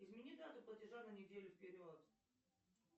измени дату платежа на неделю вперед